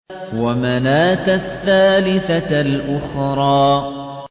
وَمَنَاةَ الثَّالِثَةَ الْأُخْرَىٰ